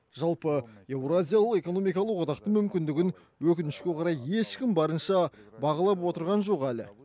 жалпы еуразия экономикалық одақтың мүмкіндігін өкінішке орай ешкім барынша бағалап отырған жоқ әлі